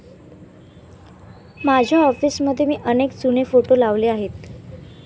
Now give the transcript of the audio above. माझ्या ऑफिसमध्ये मी अनेक जुने फोटो लावले आहेत.